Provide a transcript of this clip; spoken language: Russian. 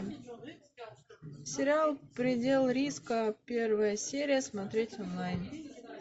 сериал предел риска первая серия смотреть онлайн